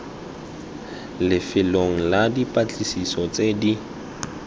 lefelong la dipatlisiso tse di